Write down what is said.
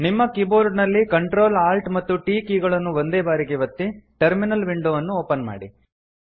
ನಿಮ್ಮ ಕೀಬೋರ್ಡ ನಲ್ಲಿ Ctrl Alt ಮತ್ತು T ಕೀ ಗಳನ್ನು ಒಂದೇ ಬಾರಿಗೆ ಒತ್ತಿ ಟರ್ಮಿನಲ್ ವಿಂಡೊ ಅನ್ನು ಓಪನ್ ಮಾಡಿ